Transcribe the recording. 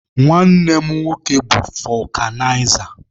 Nwanne mụ nwoke bụ fọkụnaiza.